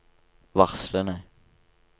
varslene